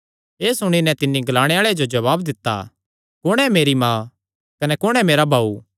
एह़ सुणी नैं तिन्नी ग्लाणे आल़े जो जवाब दित्ता कुण ऐ मेरी माँ कने कुण हन मेरे भाऊ